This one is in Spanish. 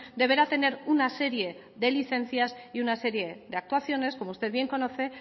deberá tener una serie de licencias y una serie de actuaciones como usted bien conoce